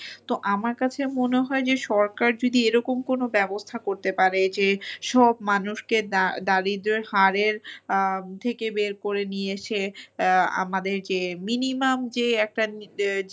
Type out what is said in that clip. তো আমার কাছে মনে হয় যে সরকার যদি এরকম কোনো ব্যবস্থা করতে পারে যে সব মানুষকে দা~ দারিদ্রের হারের আহ থেকে বের করে নিয়ে এসে আহ আমাদের যে minimum যে একটা ,